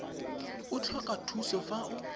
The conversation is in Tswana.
o tlhoka thuso fa o